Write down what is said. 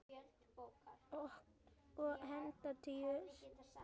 Og hingað til sú eina.